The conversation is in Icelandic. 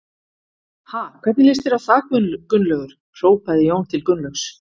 Ha, hvernig líst þér á það Gunnlaugur? hrópaði Jón til Gunnlaugs.